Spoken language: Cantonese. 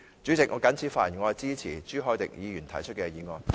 主席，我謹此陳辭，支持朱凱廸議員提出的議案。